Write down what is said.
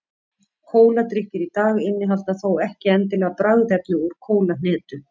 kóladrykkir í dag innihalda þó ekki endilega bragðefni úr kólahnetu